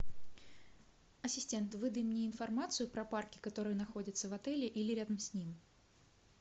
ассистент выдай мне информацию про парки которые находятся в отеле или рядом с ним